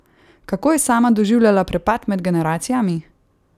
Kako je sama doživljala prepad med generacijami?